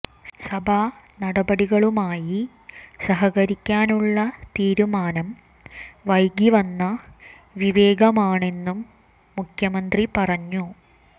സഭാ നടപടികളുമായി സഹകരിക്കാനുള്ള തീരുമാനം വൈകി വന്ന വിവേകമാണെന്നും മുഖ്യമന്ത്രി പറഞ്ഞു